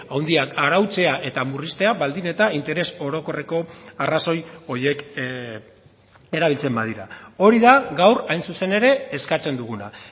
handiak arautzea eta murriztea baldin eta interes orokorreko arrazoi horiek erabiltzen badira hori da gaur hain zuzen ere eskatzen duguna